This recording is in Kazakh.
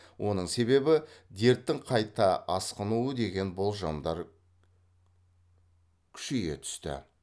оның себебі дерттің қайта асқынуы деген болжамдар күйшейе түсті